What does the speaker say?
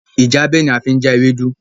Ìjábẹ̀ ni a fi ń já ewédú